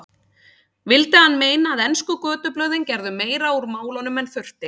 Vildi hann meina að ensku götublöðin gerðu meira úr málunum en þurfti.